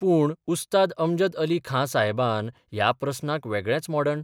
पूण उस्ताद अमजद अली खां साहेबावन ह्या प्रस्नाक वेगळेच मोडण